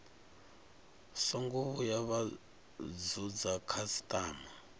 songo vhuya vha vhudza khasitama